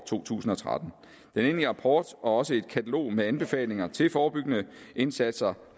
to tusind og tretten den endelige rapport og også et katalog med anbefalinger til forebyggende indsatser